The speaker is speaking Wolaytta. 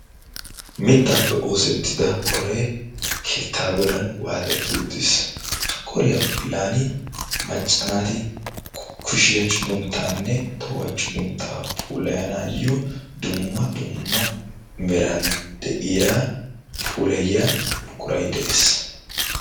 Mittaappe oosettida qoree keettaa godan waaxetti uttiis. Ha qoriya bollan macca naati kushiya cugunttaanne tohuwa cugunttaa puulayanaayyo dumma dumma meran de'ya puulayiya buquray de'ees.